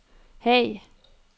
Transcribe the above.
Haag